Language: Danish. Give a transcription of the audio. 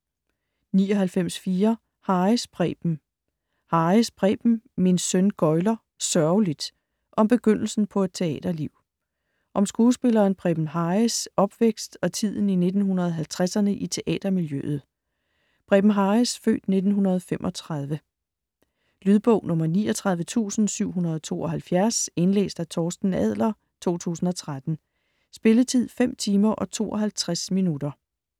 99.4 Harris, Preben Harris, Preben: Min søn gøgler - sørgeligt!: om begyndelsen på et teaterliv Om skuespilleren Preben Harris' (f. 1935) opvækst og tiden i 1950'erne i teatermiljøet. Lydbog 39772 Indlæst af Torsten Adler, 2013. Spilletid: 5 timer, 52 minutter.